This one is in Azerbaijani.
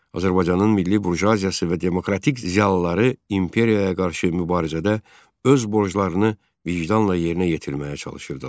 Azərbaycanın milli burjuaziyası və demokratik ziyalıları imperiyaya qarşı mübarizədə öz borclarını vicdanla yerinə yetirməyə çalışırdılar.